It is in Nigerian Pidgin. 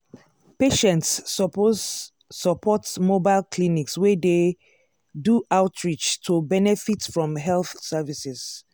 patients suppose support mobile clinics wey dey do outreach to benefit from health services.